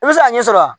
I bɛ se ka ɲɛ sɔrɔ a la